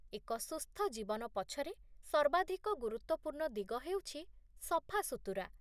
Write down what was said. ଏକ ସୁସ୍ଥ ଜୀବନ ପଛରେ ସର୍ବାଧିକ ଗୁରୁତ୍ୱପୂର୍ଣ୍ଣ ଦିଗ ହେଉଛି ସଫାସୁତୁରା